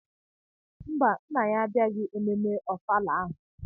Mba nna ya abịaghị ememme ofala ahụ.